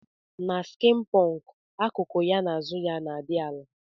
Na skin punk akuku ya na azu na adi ala.